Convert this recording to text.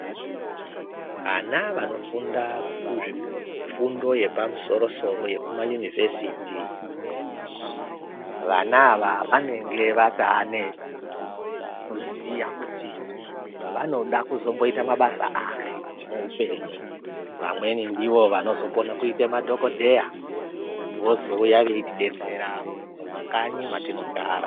Ana vanofunda kuzvifundo yepamusoro-soro yekumayunivhesiti, vana ava vanenge vataane kuziya kuti vanoda kuzomboita mabasa ari muupenyu. Vamweni ndivo vanozokone kuite madhokodheya, vozouya veitidetsera mumakanyi mwatinogara.